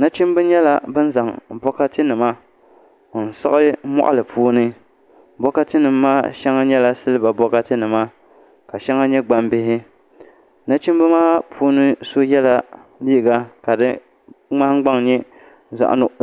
Nachimbi nyɛla bin zaŋ bokati nima n siɣi moɣali puuni bokati nim maa shɛli nyɛla silba bokati nima ka shɛŋa nyɛ gbambihi nachimbi maa puuni so yɛla liiga ka di nahangbaŋ nyɛ